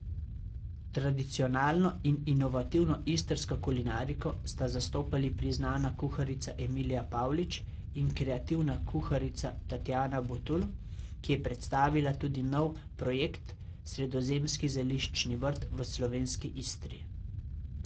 Tradicionalno in inovativno istrsko kulinariko sta zastopali priznana kuharica Emilija Pavlič in kreativna kuharica Tatjana Butul, ki je predstavila tudi nov projekt Sredozemski zeliščni vrt v slovenski Istri.